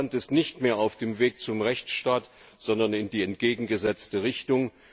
Russland ist nicht mehr auf dem Weg zum Rechtsstaat, sondern in die entgegengesetzte Richtung.